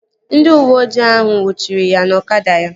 Ndị uweojii ahụ nnwuchiri ya na ọkada ya